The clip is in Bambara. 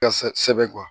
Ka sɛbɛn kuwa